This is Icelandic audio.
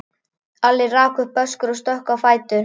Alli rak upp öskur og stökk á fætur.